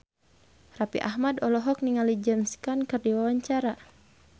Raffi Ahmad olohok ningali James Caan keur diwawancara